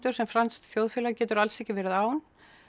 sem franskt þjóðfélag getur alls ekki verið án